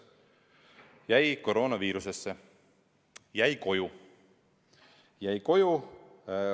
Jäi koroonaviirusesse, jäi koju.